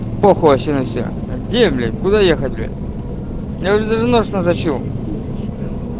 похуй вообще на всех где блять куда ехать блять я уже даже нож наточил